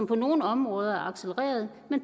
på nogle områder øget